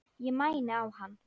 Ég mæni á hann.